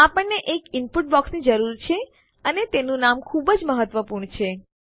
આપણને એક ઈનપુટ બોક્સની જરૂર છે અને તેનું નામ ખૂબ જ મહત્વપૂર્ણ છે